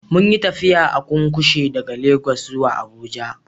Munyi tafiya a cunkushe daga Legas zuwa abuja